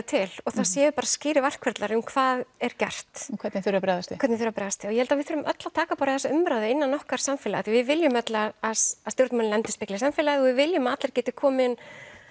til og það séu bara skýrir verkferlar um hvað er gert og hvernig þurfi að bregðast við hvernig þurfi að bregðast við ég held að við þurfum öll að taka bara þessa umræðu innan okkar samfélags því við viljum öll að að stjórnmálin endurspegli samfélagið og við viljum að allir geti komið inn